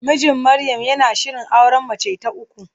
Mijin Maryam yana shirin auren mace ta uku.